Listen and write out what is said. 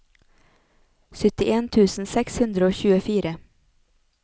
syttien tusen seks hundre og tjuefire